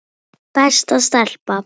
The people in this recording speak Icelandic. Besta stelpa.